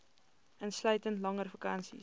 insluitend langer vakansies